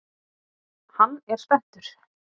Hann er spenntur.